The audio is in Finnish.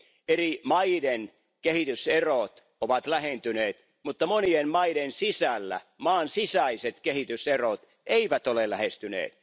Eri maiden kehityserot ovat lähentyneet, mutta monien maiden sisällä maan sisäiset kehityserot eivät ole lähentyneet.